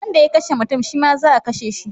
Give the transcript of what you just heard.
Wanda ya kashe mutum shi ma za a kashe shi